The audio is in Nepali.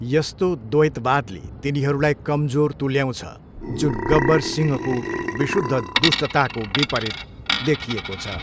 यस्तो द्वैतवादले तिनीहरूलाई कमजोर तुल्याउँछ, जुन गब्बर सिंहको विशुद्ध दुष्टताको विपरीत देखिएको छ।